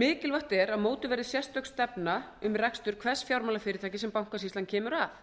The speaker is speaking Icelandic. mikilvægt er að mótuð verði sérstök stefna um rekstur hvers fjármálafyrirtækis sem bankasýslan kemur að